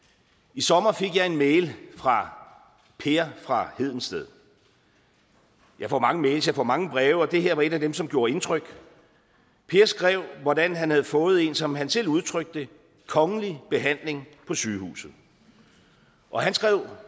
i sommer fik jeg en mail fra per fra hedensted jeg får mange mails jeg får mange breve og det her var et af dem som gjorde indtryk per skrev hvordan han havde fået en som han selv udtrykte det kongelig behandling på sygehuset og han skrev